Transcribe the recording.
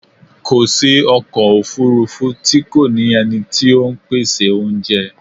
Kò sí ọkọ̀ òfúrúfú tí kò ní ẹni tí ó ń pèsè oúnjẹ.